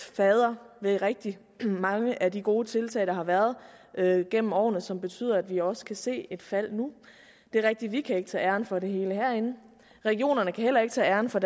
fadder til rigtig mange af de gode tiltag der har været gennem årene og som betyder at vi også kan se et fald nu det er rigtigt at vi ikke kan tage æren for det hele herinde regionerne kan heller ikke tage æren for